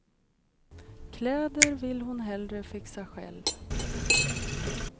Kläder vill hon hellre fixa själv.